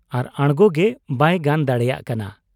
ᱟᱨ ᱟᱬᱜᱚᱜᱮ ᱵᱟᱭ ᱜᱟᱱ ᱫᱟᱲᱮᱭᱟᱜ ᱠᱟᱱᱟ ᱾